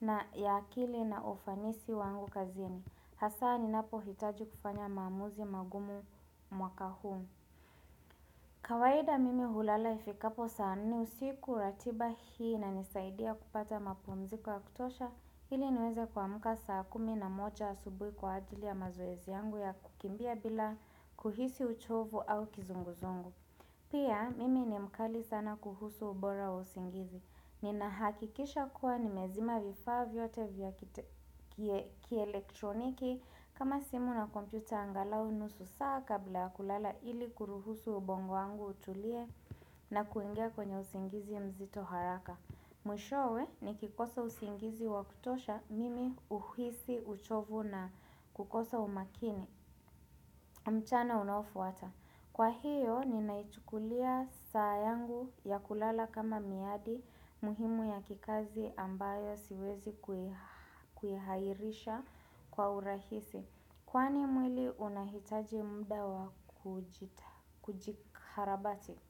na ya akili na ufanisi wangu kazini. Hasa ninapo hitaji kufanya mamuzi magumu mwaka huu. Kawaida mimi hulala ifikapo saa nne usiku ratiba hii nanisaidia kupata mapumziko kutosha ili niweze kwa muka saa kumi na moja asubui kwa ajili ya mazoezi yangu ya kukimbia bila kuhisi uchovu au kizunguzungu. Pia, mimi ni mkali sana kuhusu ubora wa usingizi. Nina hakikisha kuwa ni mezima vifaa vyote vya kielektroniki kama simu na kompyuta angalau nusu saa kabla ya kulala ili kuruhusu ubongo angu utulie na kuingia kwenye usingizi mzito haraka. Mwishowe ni kikosa usiingizi wakutosha mimi uhisi uchovu na kukosa umakini mchana unofuwata. Kwa hiyo ni naichukulia saa yangu ya kulala kama miadi muhimu ya kikazi ambayo siwezi kuhihairisha kwa urahisi. Kwani mwili unahitaji mda wa kujikarabati?